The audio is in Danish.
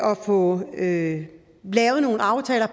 og få lavet nogle aftaler